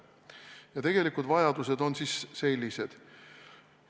Ja tegelikud vajadused on siis sellised.